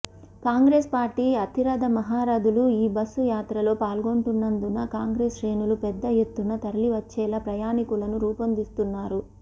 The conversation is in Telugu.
కాంగ్రెస్ పార్టీ అతిరథ మహరథులు ఈబస్సు యాత్రలో పాల్గొంటున్నందున కాంగ్రెస్ శ్రేణులు పెద్ద ఎత్తున తరలివచ్చేలా ప్రణాళికలను రూపొందిస్తున్నారు